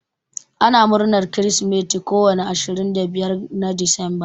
Ana murnar kirsimati ko wani ashirin da biyar na decemba.